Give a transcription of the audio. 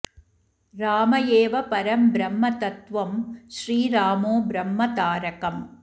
राम एव परं ब्रह्म तत्त्वं श्रीरामो ब्रह्म तारकम्